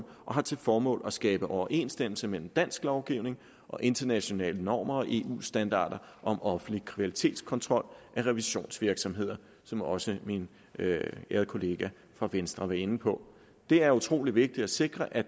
og har til formål at skabe overensstemmelse mellem dansk lovgivning og internationale normer og eu standarder om offentlig kvalitetskontrol af revisionsvirksomheder som også min ærede kollega fra venstre var inde på det er utrolig vigtigt at sikre at